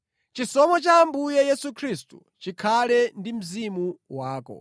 Chisomo cha Ambuye Yesu Khristu chikhale ndi mzimu wako.